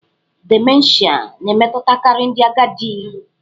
Dimenshịa na-emetụtakarị ndị agadi.